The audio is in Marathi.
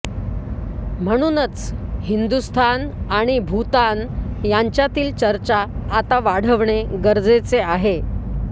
म्हणूनच हिंदुस्थान आणि भूतान यांच्यातील चर्चा आता वाढवणे गरजेचे आहे